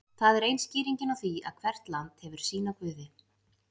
Það er ein skýringin á því að hvert land hefur sína guði.